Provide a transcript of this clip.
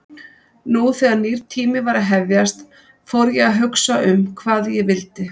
Nú þegar nýr tími var að hefjast fór ég að hugsa um hvað ég vildi.